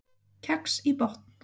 Kex í botn